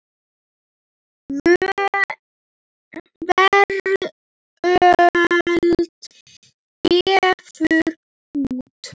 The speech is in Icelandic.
Veröld gefur út.